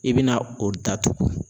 I bɛna o datugu.